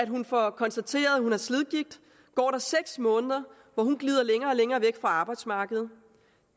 hun får konstateret at hun har slidgigt går der seks måneder hvor hun glider længere og længere væk fra arbejdsmarkedet